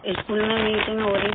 school में meeting हो रही थी